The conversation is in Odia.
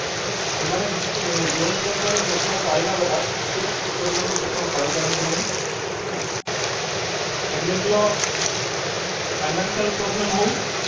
ସେମାନେ ଯୋଉ ପରିମାଣର ପୋଷଣ ପାଇବା କଥା ଠିକ ପରିମାଣର ପୋଷଣ ପାଇପାରନ୍ତି ନାହିଁ family ର financial problem ହଉ